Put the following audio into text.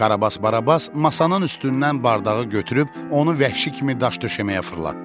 Karabas Barabas masanın üstündən bardağı götürüb onu vəhşi kimi daş döşəməyə fırlatdı.